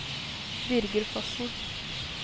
Birger Fossen